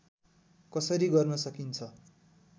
कसरी गर्न सकिन्छ